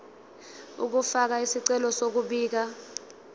ukufaka isicelo sokubika